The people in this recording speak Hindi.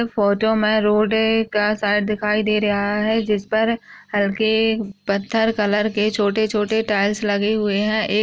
एक फोटो मे रोड है का साइड दिखाई दे रहा है जिस पर हल्के पत्थर कलर के छोटे-छोटे टाइल्स लगे हुए है एक --